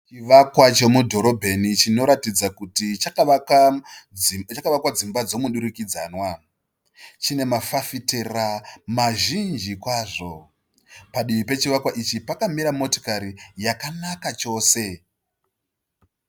Chivakwa chemudhorobheni chinoratidza kuti chakavakwa dzimba dzemudurikidzanwa. Chine mafafitera mazhinji kwazvo . Padivi pechivakwa ichi pakamira motikari yakanaka chose.